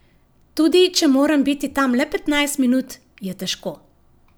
Tudi če moram biti tam le petnajst minut, je težko.